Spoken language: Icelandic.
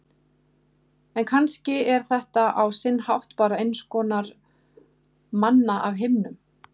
En kannski er þetta á sinn hátt bara einskonar manna af himnum.